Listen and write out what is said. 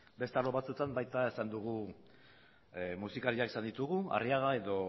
beste arlo batzuetan baita esan dugu musikariak izan ditugu arriaga